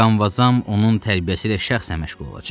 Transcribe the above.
Mıqanvazam onun tərbiyəsilə şəxsən məşğul olacaq.